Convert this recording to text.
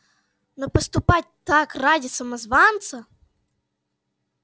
но поступать так ради самозванца